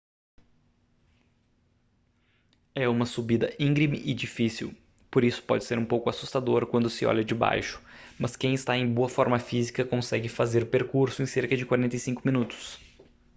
é uma subida íngreme e difícil por isso pode ser um pouco assustador quando se olha de baixo mas quem está em boa forma física consegue fazer o percurso em cerca de 45 minutos